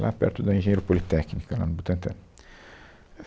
lá perto da Engenheiro Politécnica, lá no Butantã.